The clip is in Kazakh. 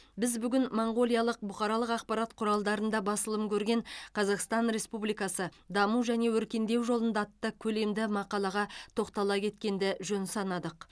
біз бүгін моңғолиялық бұқаралық ақпарат құралдарында басылым көрген қазақстан республикасы даму және өркендеу жолында атты көлемді мақалаға тоқтала кеткенді жөн санадық